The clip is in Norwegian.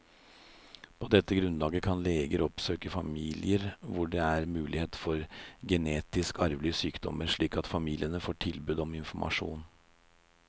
På dette grunnlag kan leger oppsøke familier hvor det er mulighet for genetisk arvelige sykdommer, slik at familiene får tilbud om informasjon.